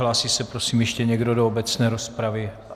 Hlásí se prosím ještě někdo do obecné rozpravy?